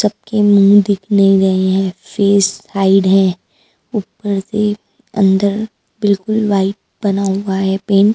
सबके मुँह दिख नहीं रहे हैं फेस हाइड है ऊपर से अंदर बिल्कुल वाइट बना हुआ है पेन --